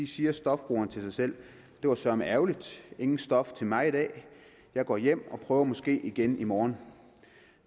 siger stofbrugeren til sig selv det var søreme ærgerligt ingen stof til mig i dag jeg går hjem og prøver måske igen i morgen